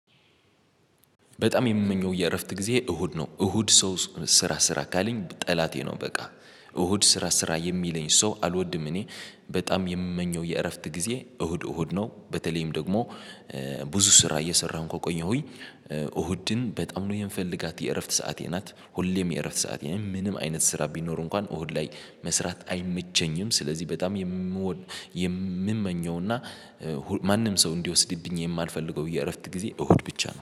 በጣም የምመኘው የእረፍት ጊዜ እሁድ ነው። እሁድ ሰው ስራ ስራ ካለኝ ጠላቴ ነው። በቃ እሁድ ስራ ስራ የሚለኝ ሰው አልወድም። እኔ በጣም የምመኘው የእረፍት ጊዜ እሁድ እሁድ ነው። በተለይም ደግሞ ብዙ ስራ እየሰራሁም ከቆየሁኝ እሁድን በጣም ነው የምፈልጋት የእረፍት ሰዓቴ ናት። ሁሌም የእረፍት ሰዓቴ ምንም አይነት ስራ ቢኖር እንኳን እሁድ ላይ መስራት አይመቸኝም። ስለዚህ በጣም የምዎድ የምመኘውና ማንም ሰው እንዲወስድብኝ የማልፈልገው የእረፍት ጊዜ እሁድ ብቻ ነው